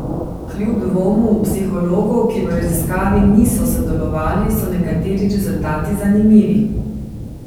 Kljub dvomu psihologov, ki v raziskavi niso sodelovali, so nekateri rezultati zanimivi.